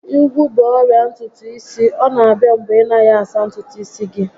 Ígwú bụ ọrịa ntutu isi, ọ na abịa mgbe ị naghị asa ntutu isi gị